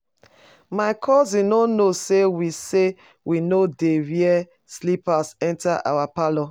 My cousin no know say we say we no dey wear slippers enter our parlour